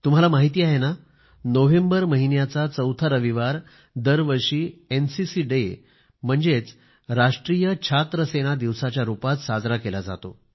तुम्हाला माहिती आहे ना नोव्हेंबर महिन्याचा चौथा रविवार दरवर्षी एनसीसी डे म्हणजेच राष्ट्रीय छात्रसेना दिवसाच्या रूपात साजरा केला जातो